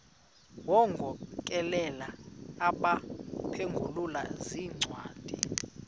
wagokelela abaphengululi zincwadi